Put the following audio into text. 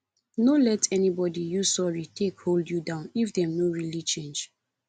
no let anybody use sorry take hold you down if dem no really change